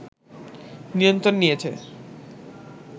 নিয়ন্ত্রণ নিয়েছে